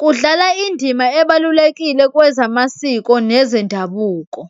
kudlala indima ebalulekile kwezamasiko nezendabuko.